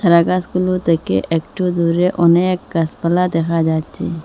ন্যাড়া গাসগুলো থেকে একটু দূরে অনেক গাসপালা দেখা যাচ্ছে।